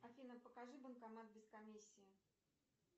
афина покажи банкомат без комиссии